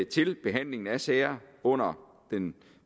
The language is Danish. til behandlingen af sager under den